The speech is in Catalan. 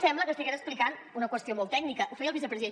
sembla que estigués explicant una qüestió molt tècnica ho feia el vicepresident